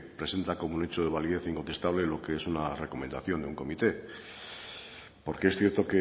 presenta como un hecho de validez incontestable lo que es una recomendación de un comité porque es cierto